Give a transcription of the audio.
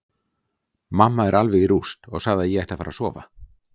Mamma er alveg í rúst og sagði að ég ætti að fara að sofa.